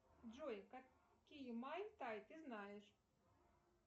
джой какие майтай ты знаешь